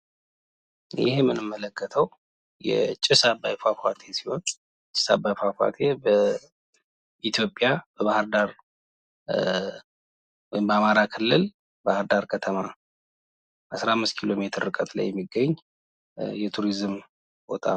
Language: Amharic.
ይህ የምንመለከተው የጭስ አባይ ፏፏቴ ሲሆን ጭስ አባይ ፏፏቴ በኢትዮጵያ በባህርዳር ወይም በአማራ ክልል ባህርዳር ከተማ 15 ኪሎ ሜትር ርቀት ላይ የሚገኝ የቱሪዝም ቦታ ነው።